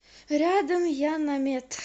рядом яннамед